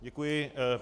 Děkuji.